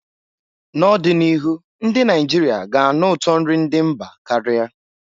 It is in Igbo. N'ọdịnihu, ndị Naijiria ga-anụ ụtọ nri ndị mba karia.